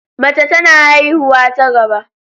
Mace tana haihuwa ta gaba.